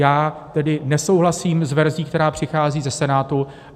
Já tedy nesouhlasím s verzí, která přichází ze Senátu.